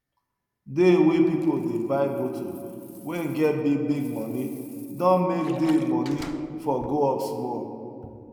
dey way pipu dey buy moto wen get big big moni don make dey moni for go up smoll